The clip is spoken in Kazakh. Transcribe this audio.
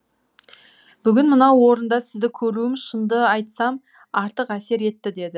бүгін мынау орында сізді көруім шынды айтсам артық әсер етті деді